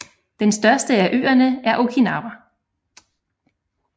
Den største af øerne er Okinawa